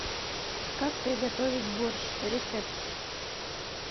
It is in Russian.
как приготовить борщ рецепт